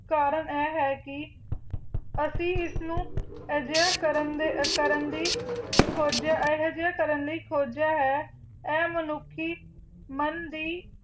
ਕਰਨ ਇਹ ਹੈ ਕੀ ਅਸੀਂ ਇਸ ਨੂ ਅਜਿਹਾ ਕਰਨ ਦੀ ਅਜਿਹਾ ਕਰਨ ਲਈ ਖਜਿਆ ਹੈ ਅਤੇ ਮਨੁਖੀ ਮਨ ਦੀ